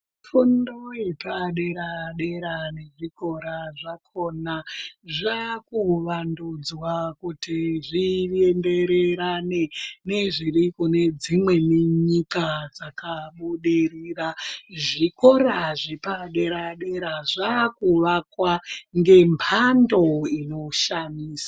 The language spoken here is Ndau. Fundo yepadera dera nezvikora zvakona zvakuvandudzwa kuti zvienderane nezviri kunedzimweni nyika dzakabudirira. Zvikora zvepadera dera zvakuvakwa ngemhando inoshamisa.